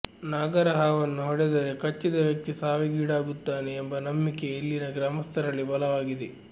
ನಾಗರಹಾವನ್ನು ಹೊಡೆದರೆ ಕಚ್ಚಿದ ವ್ಯಕ್ತಿ ಸಾವಿಗೀಡಾಗುತ್ತಾನೆ ಎಂಬ ನಂಬಿಕೆ ಇಲ್ಲಿನ ಗ್ರಾಮಸ್ಥರಲ್ಲಿ ಬಲವಾಗಿದೆ